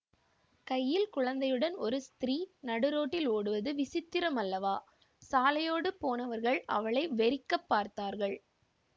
கையில் குழந்தையுடன் ஒரு ஸ்திரீ நடுரோட்டில் ஓடுவது விசித்திரமல்லவா சாலையோடு போனவர்கள் அவளை வெறிக்கப் பார்த்தார்கள்